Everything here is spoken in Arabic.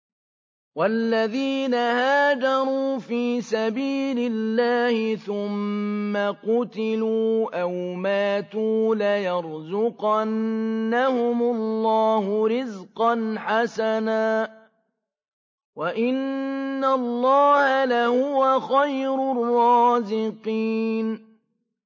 وَالَّذِينَ هَاجَرُوا فِي سَبِيلِ اللَّهِ ثُمَّ قُتِلُوا أَوْ مَاتُوا لَيَرْزُقَنَّهُمُ اللَّهُ رِزْقًا حَسَنًا ۚ وَإِنَّ اللَّهَ لَهُوَ خَيْرُ الرَّازِقِينَ